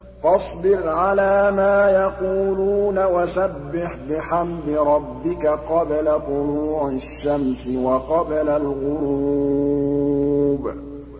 فَاصْبِرْ عَلَىٰ مَا يَقُولُونَ وَسَبِّحْ بِحَمْدِ رَبِّكَ قَبْلَ طُلُوعِ الشَّمْسِ وَقَبْلَ الْغُرُوبِ